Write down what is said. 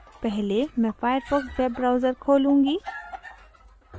पहले मैं Firefox web browser खोलूँगी